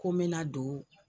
Ko n be na don